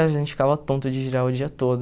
A gente ficava tonto de girar o dia todo.